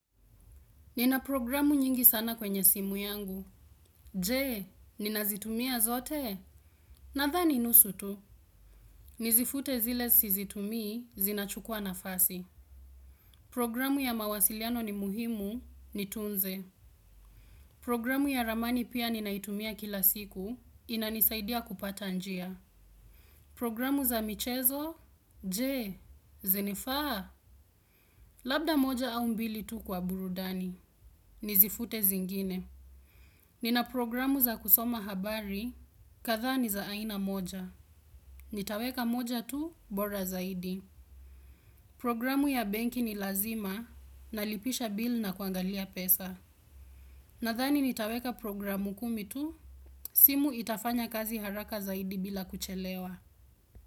Nina programu nyingi sana kwenye simu yangu. Je, ninazitumia zote? Nadhani nusu tu. Nizifute zile sizitumii zinachukua nafasi. Programu ya mawasiliano ni muhimu nitunze. Programu ya ramani pia ninaitumia kila siku inanisaidia kupata njia. Programu za michezo? Je, zinifaa? Labda moja au mbili tu kwa burudani. Nizifute zingine. Nina programu za kusoma habari kadhaa ni za aina moja. Nitaweka moja tu bora zaidi. Programu ya benki ni lazima nalipisha bill na kuangalia pesa. Nadhani nitaweka programu kumi tu simu itafanya kazi haraka zaidi bila kuchelewa.